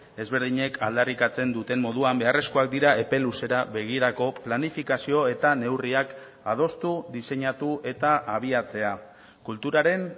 ezberdinek aldarrikatzen duten moduan beharrezkoak dira epe luzera begirako planifikazio eta neurriak adostu diseinatu eta abiatzea kulturaren